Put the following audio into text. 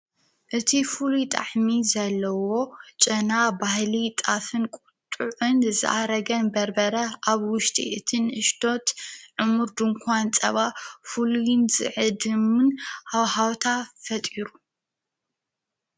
እቲ ፍሉይ ጣዕሚ ዘለዎ ጨና ባህሊ ጣፍን ቊጡዕ ዕን ዝኣረገን በርበረ ኣብ ውሽጢ እትን እሽቶት ዕሙር ድንኳን ጸባ ፍሉይን ዝዕድምን ሃውሃውታ ፈጢሩ።